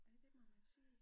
Ja det må man sige